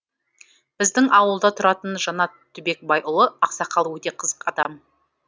біздің ауылда тұратын жанат түбекбайұлы ақсақал өте қызық адам